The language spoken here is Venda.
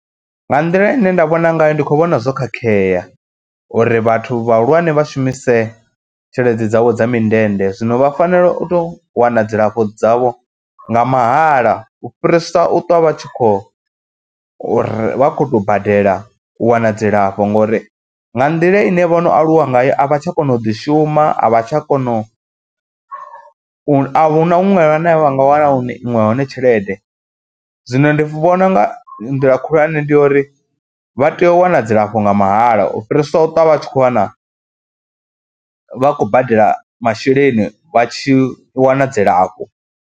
Nga nḓila ine nda vhona ngayo ndi khou vhona zwo khakhea uri vhathu vhahulwane vha shumise tshelede dzavho dza mindende zwino vha fanela u tou wana dzilafho dzavho nga mahala u fhirisa u ṱwa vha tshi khou uri vha khou tou badela u wana dzilafho ngori nga nḓila ine vho no aluwa ngayo a vha tsha kona u ḓishuma, a vha tsha kona u, a hu na huṅwe hune vha nga wana hone iṅwe hone tshelede. Zwino ndi vhona u nga nḓila khulwane ndi ya uri vha tea u wana dzilafho nga mahala u fhirisa u ṱwa vha khou wana, vha khou badela masheleni vha tshi wana dzilafho.